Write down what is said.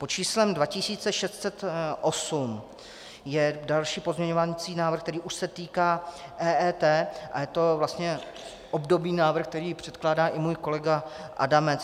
Pod číslem 2608 je další pozměňovací návrh, který už se týká EET, a je to vlastně obdobný návrh, který předkládá i můj kolega Adamec.